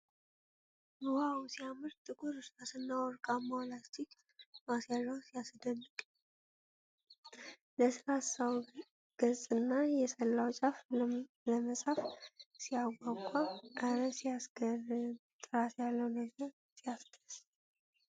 ዋው ሲያምር ! ጥቁር እርሳስና ወርቃማው ላስቲክ ማስያዣው ሲያስደንቅ ! ለስላሳው ገጽና የሰላው ጫፉ ለመጻፍ ሲያጓጓ ! እረ ሲያስገርም ! ጥራት ያለው ነገር ሲያስደስት !